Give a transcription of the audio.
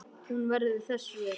Hún verður þess vör.